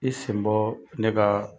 I sen bɔ ne ka